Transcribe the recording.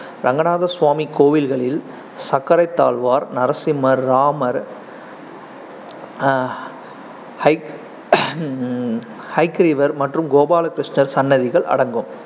ரங்கநாதசுவாமி கோவில்களில் சக்கரத்தாழ்வார், நரசிம்மர், ராமர், உம் ஹயக்ரீவர் மற்றும் கோபால கிருஷ்ணர் சன்னதிகள் அடங்கும்